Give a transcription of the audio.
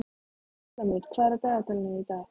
Súlamít, hvað er á dagatalinu í dag?